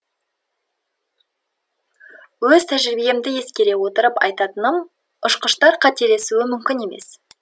өз тәжірибемді ескере отырып айтатыным ұшқыштар қателесуі мүмкін емес